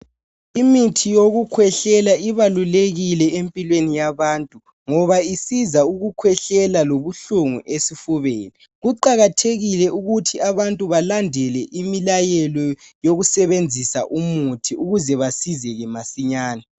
Imithi yokukhwehlela ibalulekile empilweni yabantu ngoba isiza ukuhlwehlela lobuhlungu esifubeni. kuqakathekile ukuthi abantu balandele imilayelo yokusebenzisa imithi ukuze basizeke masinya.